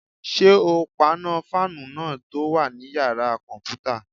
Ṣé o paná fáànù náà tó wà ní yàrá-kọ̀mpútà?